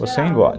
Você engole.